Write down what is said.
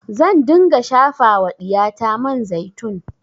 Zan dinga shafa wa ɗiyata man zaitun